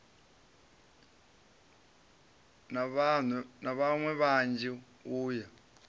na vhaṋwe vhanzhi u ya